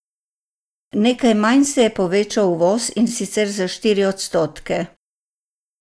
Nekaj manj se je povečal uvoz, in sicer za štiri odstotke.